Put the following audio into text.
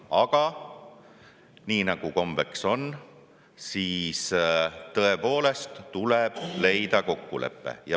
Aga nii nagu kombeks on, tõepoolest tuleb leida kokkulepe.